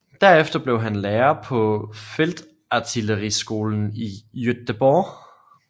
Derefter blev han lærer på feltartilleriskolen i Jüterbog